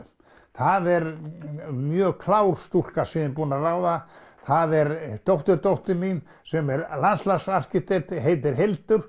það er mjög klár stúlka sem ég er búin að ráða það er dótturdóttur mín sem er landslagsarkitekt og heitir Hildur